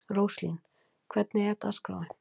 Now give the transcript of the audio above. Róslín, hvernig er dagskráin?